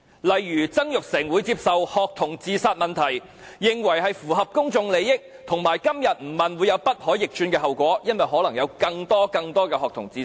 例如曾鈺成會認為，關於學童自殺問題的質詢符合公眾利益，以及今天不提出質詢，便會有不可逆轉的後果，因為可能會有更多、更多學童自殺。